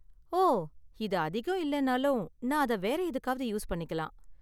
ஓ, இது அதிகம் இல்லனாலும், நான் அத வேற எதுக்காவது யூஸ் பண்ணிக்கலாம்.